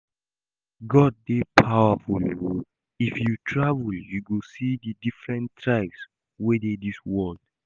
God dey powerful oo, If you travel you go see the different tribes wey dey dis world